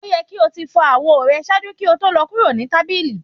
O yẹ ki o ti fọ awo rẹ ṣaaju ki o to lọ kuro ni tabili!